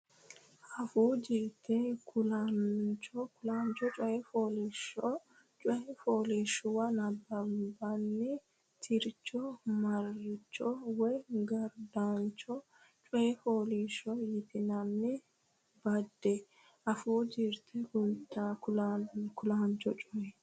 Afuu Jirte Kulaancho Coy Fooliishsho coy fooliishshuwa nabbabbine tircho marcho woy gurdancho coy fooliishsho yitinanni badde Afuu Jirte Kulaancho Coy.